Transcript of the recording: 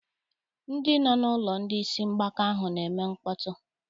Ndị nọ n'ụlọ ndị isi mgbaka ahụ na-eme mkpọtụ.